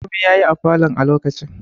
Komai yayi a falon a lokacin